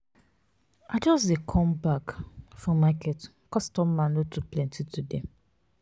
i just dey come back um for market customer no too plenty today.